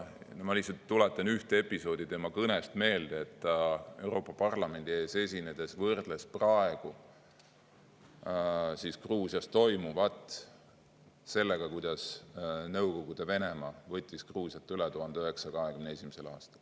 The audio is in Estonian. Ma lihtsalt tuletan üht episoodi tema kõnest meelde: ta Euroopa Parlamendi ees esinedes võrdles praegu Gruusias toimuvat sellega, kuidas Nõukogude Venemaa võttis Gruusiat üle 1921. aastal.